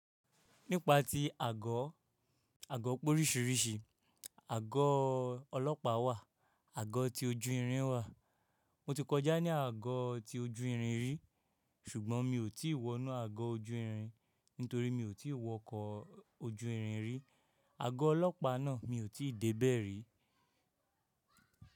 Nípa tí àgọ́, àgọ́ òpórísìrísì, àgọ́ ọlọ́pàá wà, àgọ́ tí ojú irin wà. Mo ti kọjá ní àgọ́ tí ojú irin rí, ṣùgbọ́n mi ò tí wọ́nú àgọ́ ojú irin nítorí mi ò tí wọ ọkọ̀ ojú irin rí. Àgọ́ ọlọ́pàá náà mi ò tí dé bẹ̀ rí.